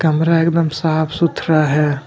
कमरा एकदम साफ़ सुथरा है।